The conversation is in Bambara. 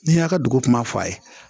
N'i y'a ka dugu kuma fɔ a ye